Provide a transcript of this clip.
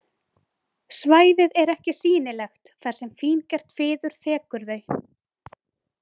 Svæðið er ekki sýnilegt þar sem fíngert fiður þekur þau.